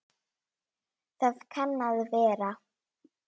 Það kann að vera.